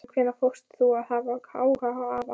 Síðan hvenær fórst þú að hafa áhuga á afa?